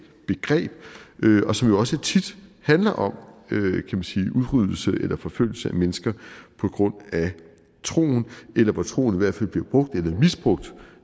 begreb og som også tit handler om udryddelse eller forfølgelse af mennesker på grund af troen eller hvor troen i hvert fald bliver brugt eller misbrugt